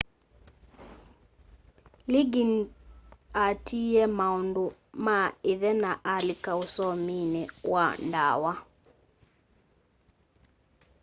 lĩggĩns atĩĩye maũndũ ma ĩthe na alĩka ũsomĩnĩ wa dawa